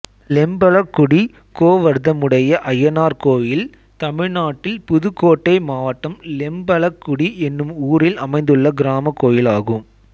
லெம்பலக்குடி கோவர்த்தமுடைய அய்யனார் கோயில் தமிழ்நாட்டில் புதுக்கோட்டை மாவட்டம் லெம்பலக்குடி என்னும் ஊரில் அமைந்துள்ள கிராமக் கோயிலாகும்